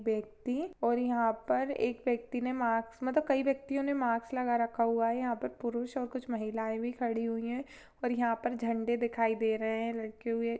व्यक्ति है और यहाँ पर एक व्यक्ति ने मास्क मतलब कई व्यक्तियों ने मास्क लगा रखा हुआ है यहाँ पर पुरुष और महिलाएं भी खड़ी हुई है और यहाँ पर झंडे दिखाई दे रहे है लगे हुए --